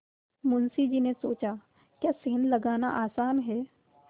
मुंशी जी ने सोचाक्या सेंध लगाना आसान है